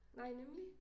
Nej nemlig